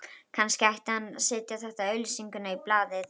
Kannski ætti hann að setja þessa auglýsingu í blaðið